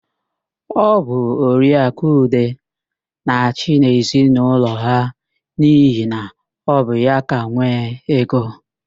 Ọ bụ Oriaakụ Ude na-achị n'ezinaụlọ ha n'ihi na ọ bụ ya ka nwee ego.